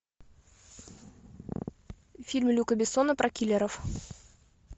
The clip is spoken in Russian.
фильм люка бессона про киллеров